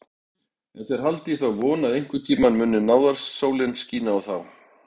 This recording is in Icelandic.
En þeir halda í þá von að einhverntíma muni náðarsólin skína á þá.